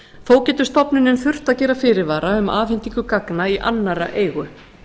þó getur stofnunin þurft að gera fyrirvara um afhendingu gagna í annarra eigu